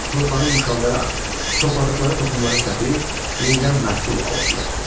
Torpağı yumşaldaraq topladıqları toxumları səpir, yenidən məhsul alırdılar.